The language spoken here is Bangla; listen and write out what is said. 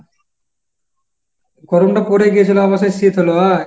গরমটা পড়ে গিয়েছিল আবার সেই শীত হল আ?